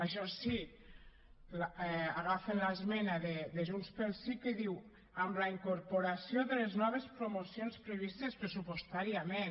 això sí agafen l’esmena de junts pel sí que diu amb la incorporació de les noves promocions previstes pressupostàriament